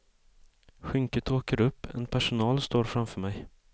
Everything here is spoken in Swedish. Skynket åker upp, en personal står framför mig.